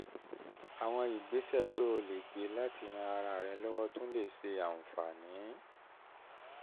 àwọn ìgbésẹ̀ tó o lè gbé láti ran ara rẹ lọ́wọ́ tún lè ṣe àǹfààní